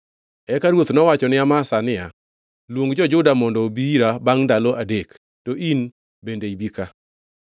Eka ruoth nowacho ni Amasa niya, “Luong jo-Juda mondo obi ira bangʼ ndalo adek, to in bende ibi ka.”